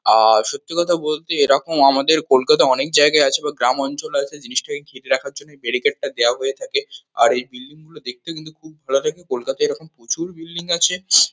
আহ সত্যি কথা বলতে এরকম আমাদের কলকাতায় অনেক জায়গাই আছে বা গ্রামাঞ্চল আছে জিনিসটাকে ঘিরে রাখার জন্যে বেরিকেট -টা দেওয়া হয়ে থাকে আর এই বিল্ডিং -গুলো দেখতেও কিন্তু খুব ভালো লাগে কলকাতায় এরকম প্রচুর বিল্ডিং আছে।